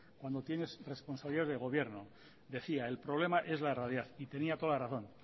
cuando tienes responsabilidades de gobierno decía el problema es la realidad y tenía toda la razón